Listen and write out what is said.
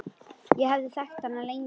Ég hafði þekkt hana lengi.